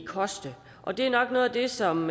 koste det er nok noget af det som